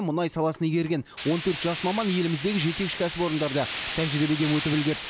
мұнай саласын игерген он төрт жас маман еліміздегі жетекші кәсіпорындарда тәжірибеден өтіп үлгерді